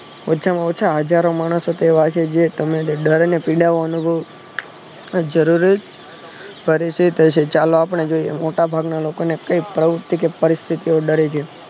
હજારો માણસ એવા છે જે તમને ડરીને પીડાવાનું તો જરૂરી ફરીથી કહશે ચાલો આપણે જોઈએ મોટા ભાગના લોકો ને કૈક પ્રવુતિ કે પરિસ્થિતિ